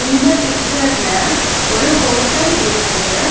இந்த பிச்சர்ல ஒரு ஹோட்டல் இருக்குது.